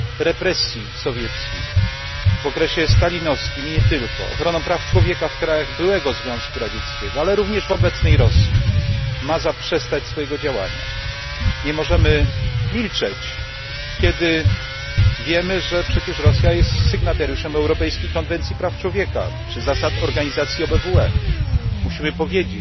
represji sowieckich, w okresie stalinowskim i nie tylko, ochroną praw człowieka w krajach byłego Związku Radzieckiego, ale również w obecnej Rosji, ma zaprzestać swojego działania, Nie możemy milczeć, kiedy wiemy, że Rosja jest przecież sygnatariuszem Europejskiej Konwencji Praw Człowieka, czy zasad organizacji OBWE.